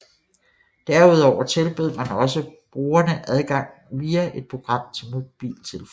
Derudover tilbød man også brugerne adgang via et program til mobiltelefonen